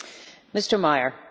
Frau Präsidentin!